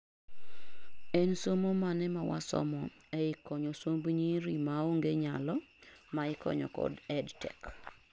en somo mane mawasomo ei konyo somb nyiri maonge nyalo maikonyo kod EdTech